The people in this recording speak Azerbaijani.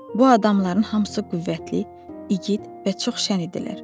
Bu adamların hamısı qüvvətli, igid və çox şən idilər.